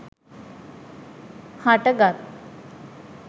හට ගත්